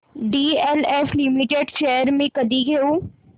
DLF limited shares मी कधी घेऊ